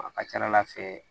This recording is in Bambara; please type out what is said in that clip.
A ka ca ala fɛ